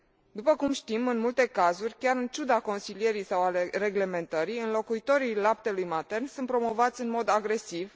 După cum știm, în multe cazuri, chiar în ciuda consilierii sau a reglementării, înlocuitorii laptelui matern sunt promovați în mod agresiv.